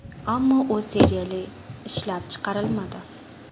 Ammo u seriyali ishlab chiqarilmadi.